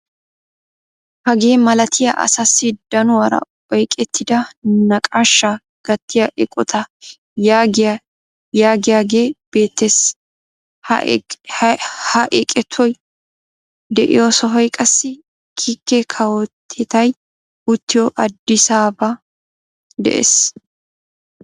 Hagee malaatay asaasi danuwara oyqettida naqaashshaa gattiya eqottaa yaagiyaage beettees. ha eqotay de'iyoo sohoy qassi kiike kawotettay uttiyoo adisaabaa de'ees.